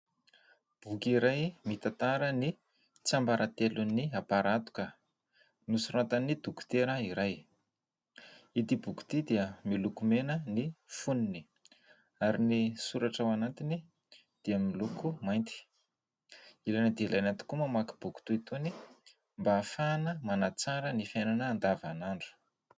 Boky iray mitantara ny tsiambaratelon'ny am-para hatoka nosoratan'ny dokotera iray. Ity boky ity dia miloko mena ny fonony ary ny soratra ao anatiny dia miloko mainty. Ilaina dia ilaina tokoa ny mamaky boky toy itony mba ahafahana manatsara ny fiainana andavan'andro.